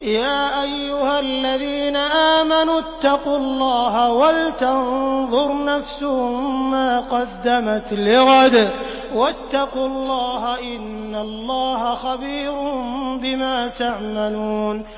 يَا أَيُّهَا الَّذِينَ آمَنُوا اتَّقُوا اللَّهَ وَلْتَنظُرْ نَفْسٌ مَّا قَدَّمَتْ لِغَدٍ ۖ وَاتَّقُوا اللَّهَ ۚ إِنَّ اللَّهَ خَبِيرٌ بِمَا تَعْمَلُونَ